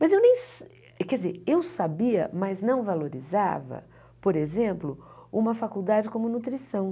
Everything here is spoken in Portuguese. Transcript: Mas eu nem... Quer dizer, eu sabia, mas não valorizava, por exemplo, uma faculdade como nutrição.